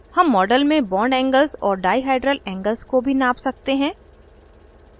हम model में bondangles और डाइहाइड्रल angles को भी नाप सकते हैं